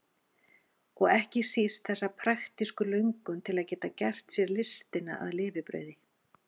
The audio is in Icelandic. Og ekki síst þessa praktísku löngun til að geta gert sér listina að lifibrauði.